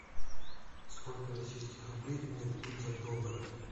сколько российских рублей мне дадут за доллары